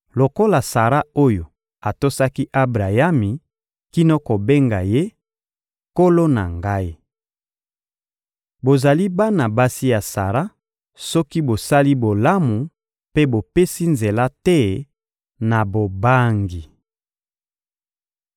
lokola Sara oyo atosaki Abrayami kino kobenga ye «nkolo na ngai.» Bozali bana basi ya Sara soki bosali bolamu mpe bopesi nzela te na bobangi.